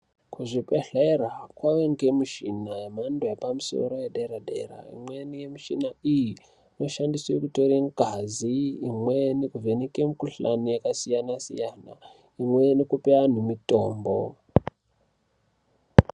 Kuzvibhedhlera kwaye ngemishina yemhando yepamusoro yedera dera . Imweni mishina iyi inoshandiswe kutore ngazi imweni kuvheneka mukuhlani yakasiyana siyana imweni kupe antu mitombo .